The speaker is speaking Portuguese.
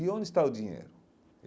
E onde está o dinheiro?